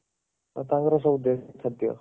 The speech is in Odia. ତାଙ୍କର ସବୁ ଦେଶୀ ଖାଦ୍ଯ